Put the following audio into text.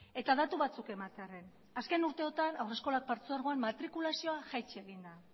eta datu batzuk ematearren azken urteotan haurreskolak partzuergoan matrikulazioa jaitsi egin da